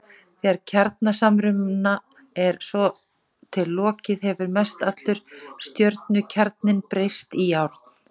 Þegar kjarnasamruna er svo til lokið hefur mestallur stjörnukjarninn breyst í járn.